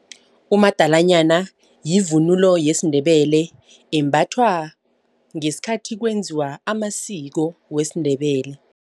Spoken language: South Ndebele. Umadalanyana yivunulo yesiNdebele embathwa ngesikhathi kwenziwa amasiko wesiNdebele.